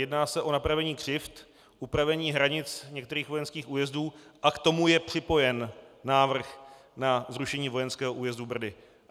Jedná se o napravení křivd, upravení hranic některých vojenských újezdů a k tomu je připojen návrh na zrušení vojenského újezdu Brdy.